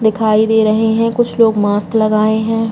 दिखाई दे रहे हैं। कुछ लोग मास्क लगाए हैं।